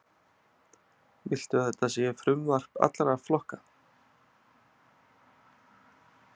Viltu að þetta sé frumvarp allra flokka?